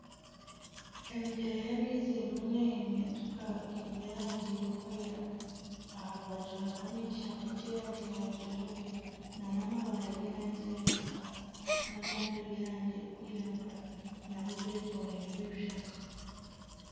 Emigyera ya amaizi erimu neehimintika. Giine erangi erikwera aha rubaju hariho n'ekishaka ky'erangi ya kijubwe nana amabaare g'erangi ya kitaka nagandi g'erangi erikwiragura nago getoreirwe ebishaka.